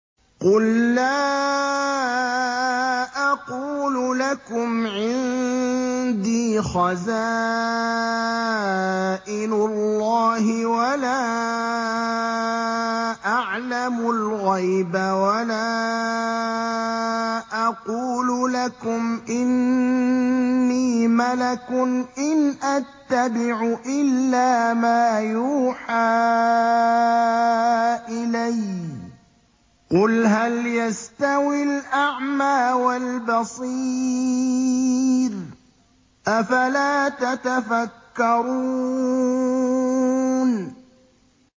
قُل لَّا أَقُولُ لَكُمْ عِندِي خَزَائِنُ اللَّهِ وَلَا أَعْلَمُ الْغَيْبَ وَلَا أَقُولُ لَكُمْ إِنِّي مَلَكٌ ۖ إِنْ أَتَّبِعُ إِلَّا مَا يُوحَىٰ إِلَيَّ ۚ قُلْ هَلْ يَسْتَوِي الْأَعْمَىٰ وَالْبَصِيرُ ۚ أَفَلَا تَتَفَكَّرُونَ